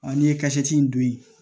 n'i ye in don